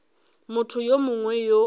motho yo mongwe yo a